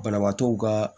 Banabaatɔw ka